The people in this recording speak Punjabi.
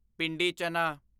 ਪਿੰਡੀ ਚਨਾ